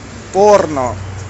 порно